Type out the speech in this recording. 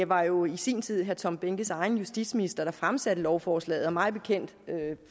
var jo i sin tid herre tom behnkes egen justitsminister der fremsatte lovforslaget og mig bekendt